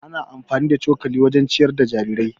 Ana amfani da cokali wajen ciyar da jarirai.